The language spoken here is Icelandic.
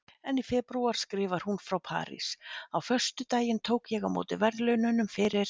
En í febrúar skrifar hún frá París: Á föstudaginn tók ég á móti verðlaununum fyrir